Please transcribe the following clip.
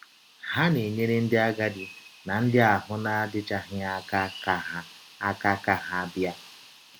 Ha na - enyere ndị agadi na ndị ahụ́ na - adịchaghị aka ka ha aka ka ha bịa.